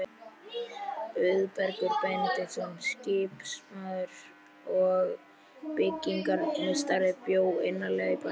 Auðbergur Benediktsson, skipasmiður og byggingarmeistari, bjó innarlega í bænum.